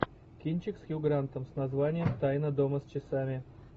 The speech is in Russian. кинчик с хью грантом с названием тайна дома с часами